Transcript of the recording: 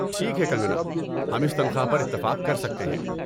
ٹھیک ہے، کنگنا، ہم اس تنخواہ پر اتفاق کر سکتے ہیں۔